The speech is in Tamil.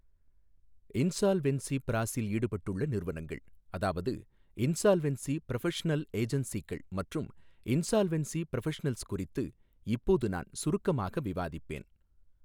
இன்சால்வென்ஸி பிராசஸில் ஈடுபட்டுள்ள நிறுவனங்கள் அதாவது இன்சால்வென்ஸி ப்ரொஃபஷனல் ஏஜன்சீகள் மற்றும் இன்சால்வென்ஸி ப்ரொஃபஷனல்ஸ் குறித்து இப்போது நான் சுருக்கமாக விவாதிப்பேன்.